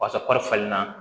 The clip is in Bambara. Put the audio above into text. Paseke kɔri falen na